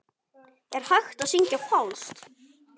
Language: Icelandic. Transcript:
Er hægt að syngja falskt?